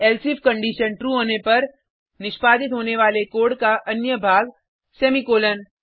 elsif condition true होने पर निष्पादित होने वाला कोड का अन्य भाग सेमीकॉलन